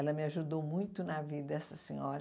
Ela me ajudou muito na vida, essa senhora.